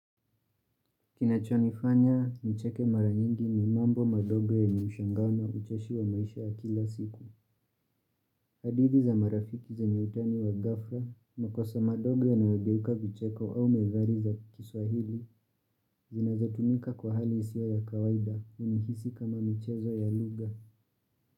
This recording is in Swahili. Kinachonifanya, nicheke mara nyingi ni mambo madogo yenye mshangao na ucheshi wa maisha ya kila siku. Hadithi za marafiki zenye utani wa ghafla, makosa madogo yanayogeuka vicheko au methali za kiswahili, zinazotumika kwa hali isio ya kawaida, unihisi kama michezo ya lugha.